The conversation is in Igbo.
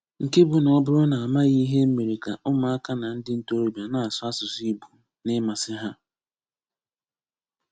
Nke bụ́ na ọ bùrù na a màghị ìhè e mere kà ụmụ̀aka na ndị ntòróbìà na-asụ̀ asụ̀sụ́ Ìgbò n’ímmasì hà